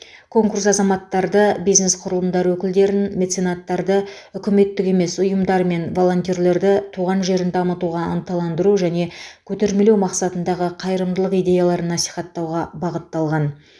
конкурс азаматтарды бизнес құрылымдар өкілдерін меценаттарды үкіметтік емес ұйымдар мен волонтерлерді туған жерін дамытуға ынталандыру және көтермелеу мақсатындағы қайырымдылық идеяларын насихаттауға бағытталған